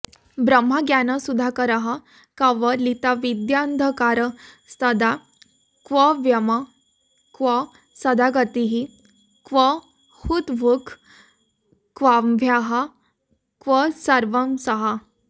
ब्रह्मज्ञानसुधाकरः कवलिताविद्यान्धकारस्तदा क्व व्योम क्व सदागतिः क्व हुतभुक् क्वाम्भाः क्व सर्वंसहा